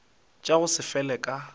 tša go se fele ka